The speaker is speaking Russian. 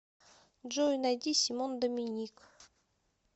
джой найди симон доминик